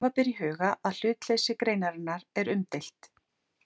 Hafa ber í huga að hlutleysi greinarinnar er umdeilt.